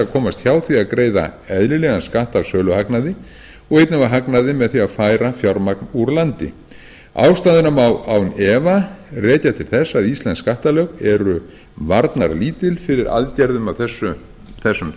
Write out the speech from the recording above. komast hjá því að greiða eðlilegan skatt af söluhagnaði og einnig af hagnaði með því að færa fjármagn úr landi ástæðuna má án vafa rekja til þess að íslensk skattalög eru varnarlítil fyrir aðgerðum af þessum